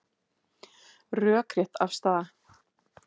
Rökrétt afstaða